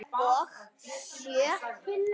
Og sjö?